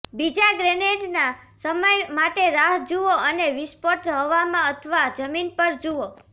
બીજા ગ્રેનેડના સમય માટે રાહ જુઓ અને વિસ્ફોટ હવામાં અથવા જમીન પર જુઓ